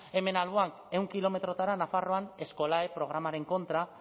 hemen alboan ehun kilometrotara nafarroan skolae programaren kontra